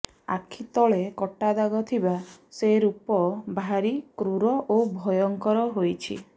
ଆଖି ତଳେ କଟାଦାଗ ଥିବା ସେ ରୂପ ଭାରି କ୍ରୂର ଓ ଭୟଙ୍କର ହୋଇଛି